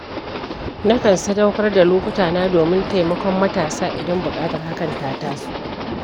Na kan sadaukar da lokutana domin taimakon matasa, idan buƙatar hakan ta taso.